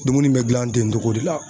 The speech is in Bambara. Dumuni bɛ gilan ten togo de la.